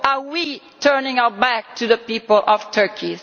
Or are we turning our backs on the people of Turkey?